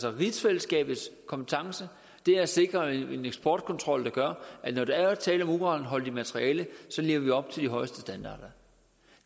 er rigsfællesskabets kompetencer og det er at sikre en eksportkontrol der gør at når der er tale om uranholdigt materiale så lever vi op til de højeste standarder